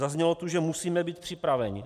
Zaznělo tu, že musíme být připraveni.